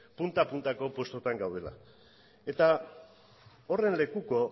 punta puntako postuetan gaudela eta horren lekuko